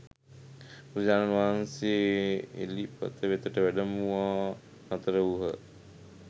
බුදුරජාණන් වහන්සේ එළිපත වෙතට වැඩමවා නතර වූහ.